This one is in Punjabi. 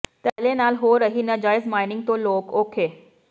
ਧੜੱਲੇ ਨਾਲ ਹੋ ਰਹੀ ਨਾਜਾਇਜ਼ ਮਾਈਨਿੰਗ ਤੋਂ ਲੋਕ ਔਖੇ